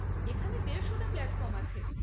এখানে দেড়শোটা প্ল্যাটফর্ম আছে।